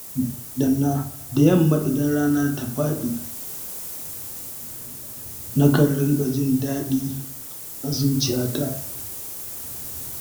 Da yamma idan rana ta faɗi, nakan ringa jin daɗi a zuciyata.